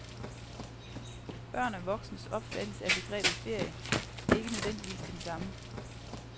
Børn og voksnes opfattelse af begrebet ferie er ikke nødvendigvis den samme.